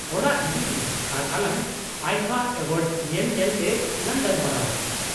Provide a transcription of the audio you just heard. ᱚᱲᱟᱜ ᱦᱤᱡᱩᱜ ᱢᱮ, ᱟᱨ ᱟᱞᱟᱝ ᱟᱭᱯᱷᱟ ᱮᱣᱟᱨᱰ ᱧᱮᱞ ᱧᱮᱞ ᱛᱮ ᱞᱟᱝ ᱜᱟᱞᱢᱟᱨᱟᱣᱟ᱾